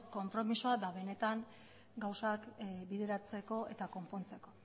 konpromisoa ba benetan gauzak bideratzeko eta konpontzeko